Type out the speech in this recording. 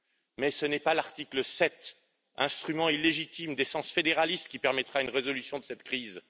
Mais ce n'est pas l'article 7, instrument illégitime d'essence fédéraliste, qui permettra une résolution de cette crise.